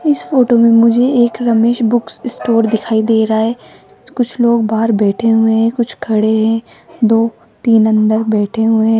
इस फोटो में मुझे एक रमेश बुक्स स्टोर दिखाई दे रहा है कुछ लोग बाहर बैठे हुए हैं कुछ खड़े हैं दो तीन अंदर बैठे हुए हैं।